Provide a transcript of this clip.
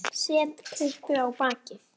Set kryppu á bakið.